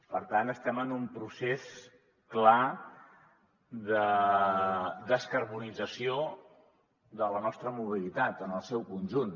per tant estem en un procés clar de descarbonització de la nostra mobilitat en el seu conjunt